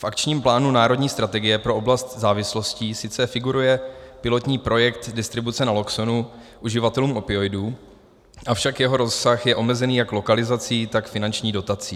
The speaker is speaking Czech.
V akčním plánu národní strategie pro oblast závislostí sice figuruje pilotní projekt distribuce Naloxonu uživatelům opioidů, avšak jeho rozsah je omezení jak lokalizací, tak finanční dotací.